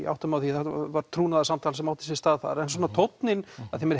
átta mig á því að þarna var trúnaðarsamtal sem átti sér stað en svona tónninn af því mér